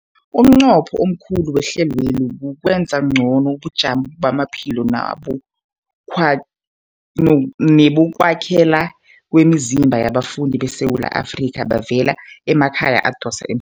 Umnqopho omkhulu wehlelweli kukwenza ngcono ubujamo bamaphilo nebo kwa nebokwakhela kwemizimba yabafundi beSewula Afrika abavela emakhaya adosa emhlweni.